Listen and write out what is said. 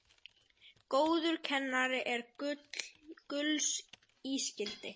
Góður kennari er gulls ígildi.